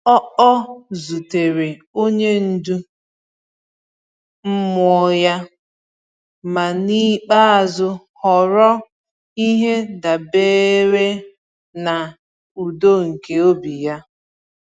Ọ Ọ zutere onye ndu mmụọ ya, ma n’ikpeazụ họrọ ihe dabeere na udo nke obi ya.